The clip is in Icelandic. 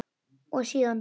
Og síðan?